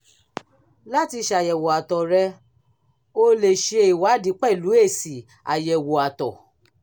láti ṣàyẹ̀wò àtọ̀ rẹ o lè ṣe ìwádìí pẹ̀lú èsì àyẹ̀wò àtọ̀